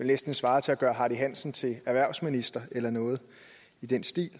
næsten svare til at gøre hardy hansen til erhvervsminister eller noget i den stil